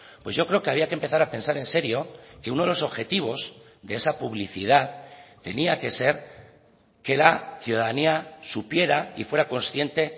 pues yo creo que había que empezar a pensar en serio que uno de los objetivos de esa publicidad tenía que ser que la ciudadanía supiera y fuera consciente